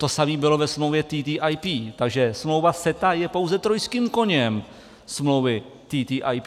To samé bylo ve smlouvě TTIP, takže smlouva CETA je pouze trojským koněm smlouvy TTIP.